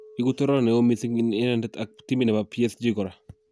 Iigu toror neo mising en inendet, ak en timit nebo PSG kora